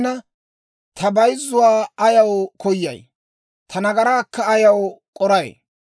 Yaatina, ta bayzzuwaa ayaw koyay? Ta nagaraakka ayaw k'oray?